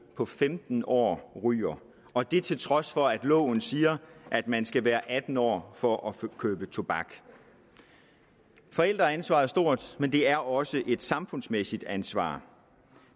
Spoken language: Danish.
på femten år ryger og det til trods for at loven siger at man skal være atten år for at købe tobak forældreansvaret er stort men det er også et samfundsmæssigt ansvar